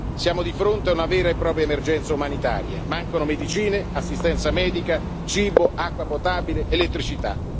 Siamo di fronte a una vera e propria emergenza umanitaria mancano medicine, assistenza medica, cibo, acqua potabile ed elettricità.